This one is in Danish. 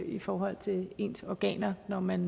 i forhold til ens organer når man